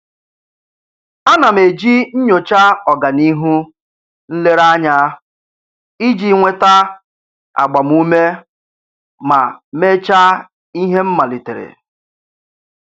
A na m eji nnyocha ọganihu nlereanya iji nweta agbamuume ma mechaa ihe m malitere.